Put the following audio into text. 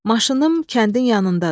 Maşınım kəndin yanındadır.